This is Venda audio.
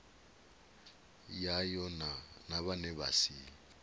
yayo na vhane vha si